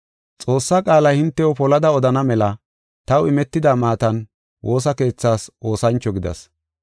Xoossaa qaala hintew polada odana mela taw imetida maatan woosa keethaas oosancho gidas.